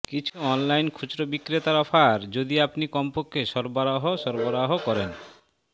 কিছু অনলাইন খুচরো বিক্রেতার অফার যদি আপনি কমপক্ষে সরবরাহ সরবরাহ করেন